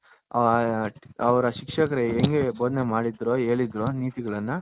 ಅವರ ಶಿಕ್ಷಕರು ಎಂಗೆ ಬೊದನೆ ಮಾಡಿದರೋ ಹೇಳಿದರೋ ನೀತಿಗಳನ್ನ